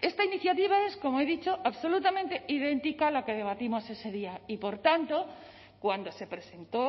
esta iniciativa es como he dicho absolutamente idéntica a la que debatimos ese día y por tanto cuando se presentó